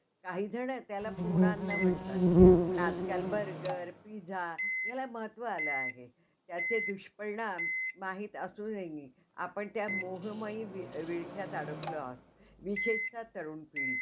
असंच त्या serial मध्ये दाखवलेलं आहे, तर तुम्हाला काय वाटतं आणखीन?